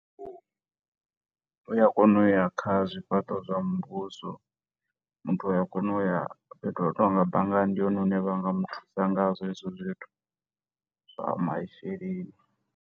U ya kona u ya kha zwifhaṱo zwa muvhuso, muthu uya kona u ya fhethu ho tonga banngani ndi hone huna vha nga muthusa nga zwo hezwo zwithu zwa masheleni.